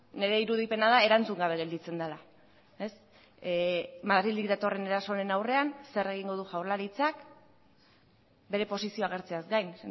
nire irudipena da erantzun gabe gelditzen dela madrildik datorren erasoaren aurrean zer egingo du jaurlaritzak bere posizioa agertzeaz gain